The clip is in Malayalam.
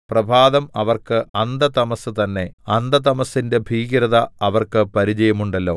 പ്രഭാതം അവർക്ക് അന്ധതമസ്സ് തന്നെ അന്ധതമസ്സിന്റെ ഭീകരത അവർക്ക് പരിചയമുണ്ടല്ലോ